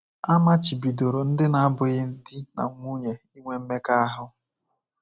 A machibidoro ndị na-abụghị di na nwunye inwe mmekọahụ.